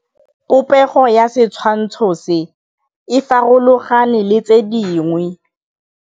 Popêgo ya setshwantshô se, e farologane le tse dingwe.